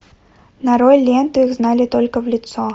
нарой ленту их знали только в лицо